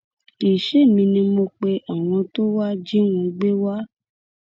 kì í ṣèmi ni mo pe àwọn tó wàá jí wọn gbé wá